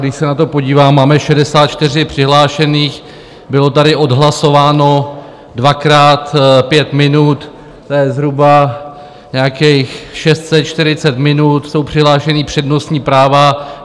Když se na to podívám, máme 64 přihlášených, bylo tady odhlasováno dvakrát pět minut, to je zhruba nějakých 640 minut, jsou přihlášena přednostní práva.